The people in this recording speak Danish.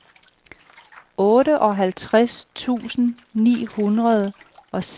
otteoghalvtreds tusind ni hundrede og seksogtres